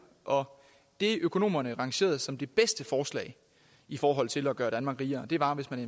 og det økonomerne lancerede som det bedste forslag i forhold til at gøre danmark rigere var hvis man